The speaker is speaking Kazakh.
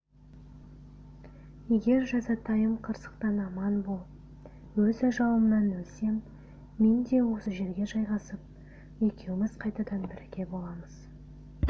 егер жазатайым қырсықтан аман болып өз ажалымнан өлсем мен де осы жерге жайғасып екеуіміз қайтадан бірге боламыз